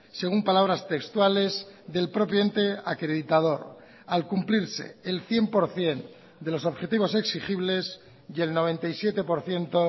según palabras textuales del propio ente acreditador al cumplirse el cien por ciento de los objetivos exigibles y el noventa y siete por ciento